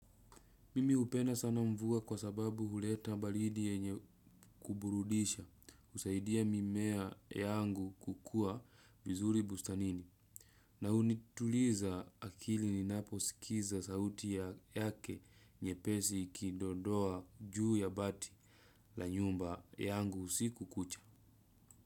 Mimi upenda sana mvua kwa sababu huleta balidi yenye kuburudisha usaidia mimea yangu kukuwa vizuri bustanini. Na unituliza akili ninapo sikiza sauti ya yake nyepesi ikidondoa juu ya bati la nyumba yangu usiku kucha.